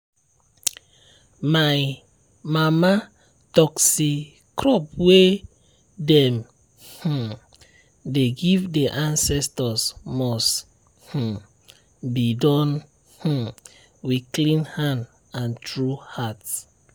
my mama talk say crop way dem um dey give the ancestors must um be done um with clean hand and true heart.